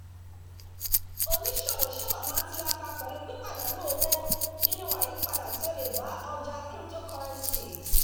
oníṣòwò sábà máa ń tiraka pẹ̀lú pípàdánù owó nínú àyípadà tí ó lè bá ọjà cryptocurrency